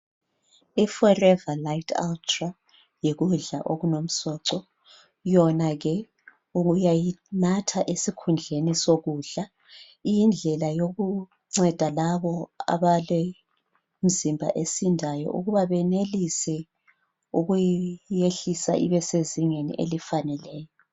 Iforever lite ultra yikudla okulomsoco, yona uyayinatha esikhundleni sokudla. Iyindlela yokunceda labo abalemizimba esindayo ukuba benelise ukuyehlisa ibesezingeni elifaneleyo.